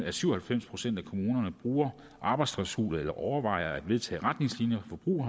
at syv og halvfems procent af kommunerne bruger arbejdsklausuler eller overvejer at vedtage retningslinjer for brug